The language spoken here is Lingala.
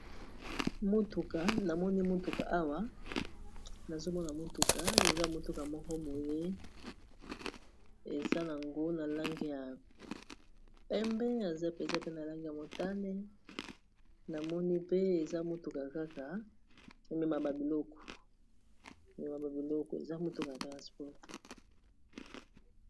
Motuka namoni motuka awa nazomona motuka eza motuka moko boye eza nango na langi ya pembe eza pe eza pe na langi ya motane namoni pe eza motuka kaka ememaka ba biloko eza motuka ya transport.